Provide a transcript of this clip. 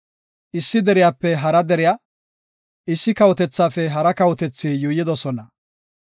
Issi deriyape hara deriya, issi kawotethaafe hara kawotethi yuuyidosona.